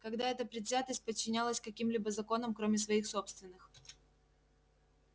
когда это предвзятость подчинялась каким-либо законам кроме своих собственных